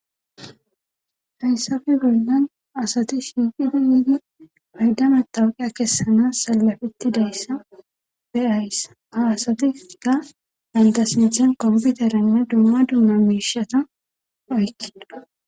Fayssafe bollan asati shiiqidi yiidi payddama tawqiya kessana salafetti deyssa beyayssa ha asati ga gandasinthen komputarenne dumma dumma miishata oykkido..